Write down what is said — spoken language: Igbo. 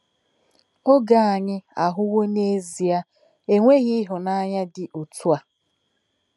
Oge anyị ahụwo n'ezie enweghị ịhụnanya dị otú ahụ.